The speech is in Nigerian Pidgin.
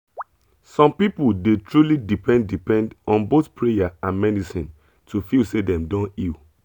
some people dey truly depend depend on both prayer and medicine to feel say dem don heal